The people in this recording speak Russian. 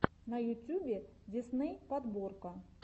на ютюбе дисней подборка